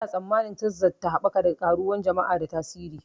Ana tsammanin Tekzas ta haɓaka da ƙaruwan jama'a da tasiri.